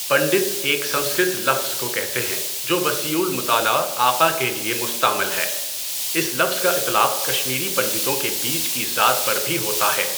پنڈت ایک سنسکرت لفظ کو کہتے ہیں جو وسیعُ المطالعہ آقا کے لیے مُستَعمَل ہے۔ اس لفظ کا اطلاق کشمیری پنڈتوں کے بیچ کی ذات پر بھی ہوتا ہے۔